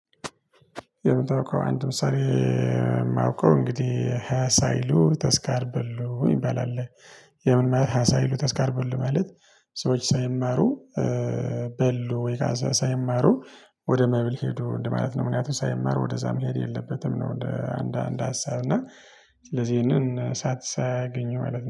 የምታውቀው አንድ ምሳሌ የማውቀው እንግዲህ ሃያ ሳይሉ ተስካር በሉ ይባላል። ይህም ሃያ ሳይሉ ተስካር በሉ ማለት። ሰዎች ሳይማሩ በሉ ወይ ሳይማሩ ወደ መብል ሄዱ ማለት ነው። ምክንያቱም ሳይማሩ ወደዛ መሄድ የለበትም ነው። እንደ አንድ አንድ ሀሳብ እና ስለዚህ ይሄንን እሳት ሳያገኘው ማለት ነው